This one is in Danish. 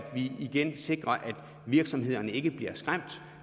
vi igen sikrer at virksomhederne ikke bliver skræmt